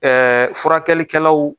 Ɛɛ furakɛlikɛlaw